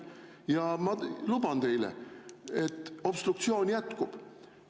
Ja ma luban teile, et obstruktsioon jätkub.